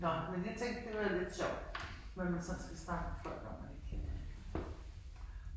Nåh men jeg tænkte det var da lidt sjovt hvad man sådan skal snakke med folk om man ikke kender